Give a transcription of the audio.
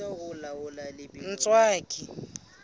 ntswaki